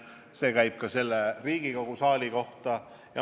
See käib ka Riigikogu saali kohta.